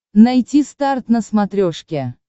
найти старт на смотрешке